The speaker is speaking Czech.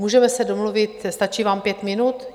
Můžeme se domluvit, stačí vám pět minut?